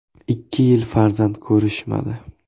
Ikki yil farzand ko‘rishmadi.